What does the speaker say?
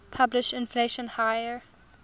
pushed inflation higher